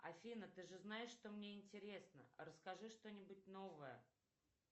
афина ты же знаешь что мне интересно расскажи что нибудь новое